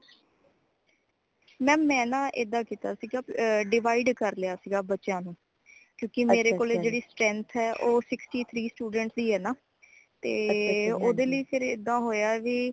mam ਮੈਂ ਨਾ ਐਦਾ ਕੀਤਾ ਸੀ divide ਕਰ ਲਿਆ ਸਿਗਾ ਬੱਚਿਆਂ ਨੂ ਕਿਉਂਕਿ ਮੇਰੇ ਕੋਲੇ {overlap }ਜੇਹੜੀ strength ਹੈ ਉਹ sixty three student ਦੀ ਹੈ ਨਾ ਤੇ ਓਦੇ ਲਈ ਫੇਰ ਏਦਾ ਹੋਇਆ ਵਈ